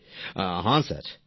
প্রেম জী হ্যাঁ স্যার